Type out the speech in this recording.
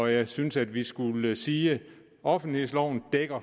jeg synes at vi skulle sige at offentlighedsloven